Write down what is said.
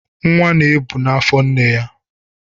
Nwa na-ebu na afọ nne ya.